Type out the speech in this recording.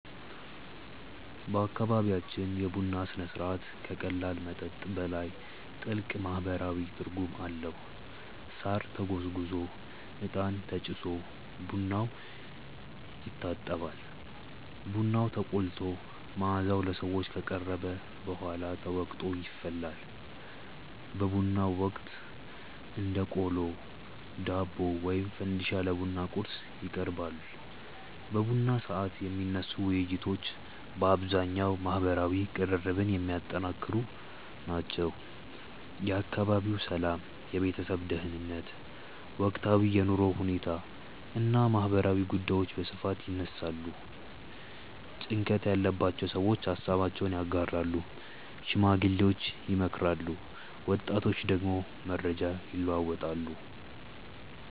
በአካባቢያችን የቡና ሥነ ሥርዓት ከቀላል መጠጥ በላይ ጥልቅ ማህበራዊ ትርጉም አለው። ሳር ተጎዝጉዞ፣ እጣን ተጭሶ ቡናው ይታጠባል። ቡናው ተቆልቶ መዓዛው ለሰዎች ከቀረበ በኋላ ተወቅጦ ይፈላል። በቡናው ወቅት እንደ ቆሎ፣ ዳቦ ወይም ፈንዲሻ ለቡና ቁርስ ይቀርባል። በቡና ሰዓት የሚነሱ ውይይቶች በአብዛኛው ማህበራዊ ቅርርብን የሚያጠነክሩ ናቸው። የአካባቢው ሰላም፣ የቤተሰብ ደህንነት፣ ወቅታዊ የኑሮ ሁኔታ እና ማህበራዊ ጉዳዮች በስፋት ይነሳሉ። ጭንቀት ያለባቸው ሰዎች ሃሳባቸውን ያጋራሉ፣ ሽማግሌዎች ይመክራሉ፣ ወጣቶች ደግሞ መረጃ ይለዋወጣሉ።